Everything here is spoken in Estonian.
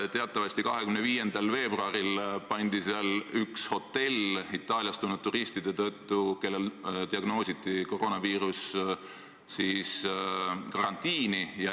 Teatavasti 25. veebruaril pandi seal karantiini üks hotell Itaaliast tulnud turistide tõttu, kellel diagnoositi koroonaviirus.